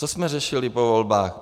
Co jsme řešili po volbách?